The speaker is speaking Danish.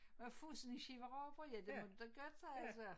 Må jeg få sådan en skive rugbrød ja det må du da godt siger jeg så